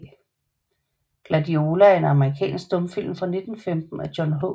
Gladiola er en amerikansk stumfilm fra 1915 af John H